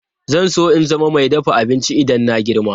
Zan so in zama mai dafa abinci idan na girma.